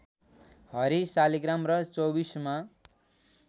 हरि शालिग्राम र चौबीसमा